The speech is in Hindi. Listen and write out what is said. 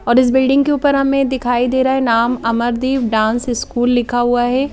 और इस बिल्डिंग के ऊपर हमें दिखाई दे रहा है नाम अमरदीप डांस स्कूल लिखा हुआ है ।